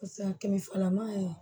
kɛmɛ fila man ɲi